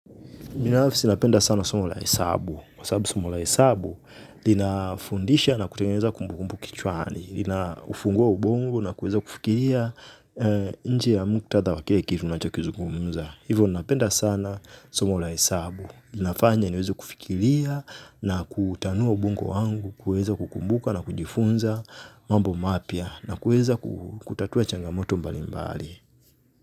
Binafsi napenda sana somo la hesabu. Kwa sababu somo la hesabu, linafundisha na kutengeza kumbukumbu kichwani, linaufungua ubongo na kuweza kufikiria nje ya muktadha wa kile kitu unachokizugumza. Hivyo napenda sana somo la hesabu. Linafanya niweza kufikiria na kutanua ubongo wangu, kuweza kukumbuka na kujifunza mambo mapya na kuweza kutatua changamoto mbali mbali.